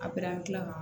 A gilan